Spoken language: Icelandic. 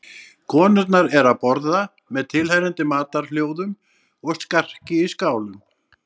Konurnar eru að borða með tilheyrandi matarhljóðum og skarki í skálum.